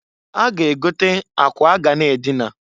A ga -egote akwa a ga na adịna.